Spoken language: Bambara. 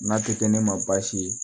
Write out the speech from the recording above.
N'a tɛ kɛ ne ma baasi ye